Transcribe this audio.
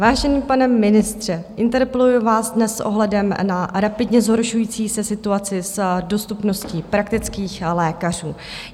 Vážený pane ministře, interpeluji vás dnes s ohledem na rapidně zhoršující se situaci s dostupností praktických lékařů.